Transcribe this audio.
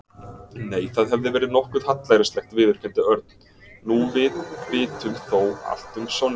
Nei, það hefði verið nokkuð hallærislegt viðurkenndi Örn. Nú við vitum þó allt um Sonju.